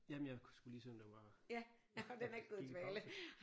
Jamen jeg skulle lige se om den var gik i pause